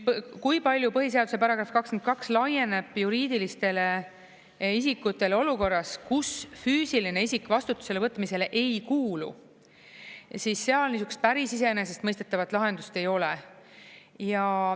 Kui palju põhiseaduse § 22 laieneb juriidilistele isikutele olukorras, kus füüsiline isik vastutusele võtmisele ei kuulu, siis seal päris iseenesestmõistetavat lahendust ei ole.